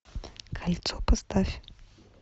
кольцо поставь